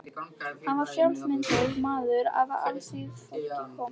Hann var frjálslyndur maður af alþýðufólki kominn.